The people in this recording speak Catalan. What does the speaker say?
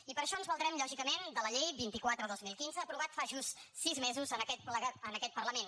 i per això ens valdrem lògicament de la llei vint quatre dos mil quinze aprovada fa just sis mesos en aquest parlament